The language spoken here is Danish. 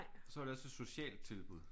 Så er det også et socialt tilbud